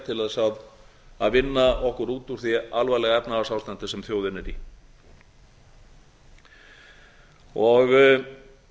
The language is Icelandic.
til þess að vinna okkur út úr því alvarlega efnahagsástandi sem þjóðin er í það